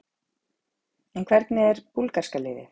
En hvernig er búlgarska liðið?